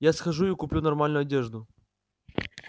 я схожу и куплю нормальную одежду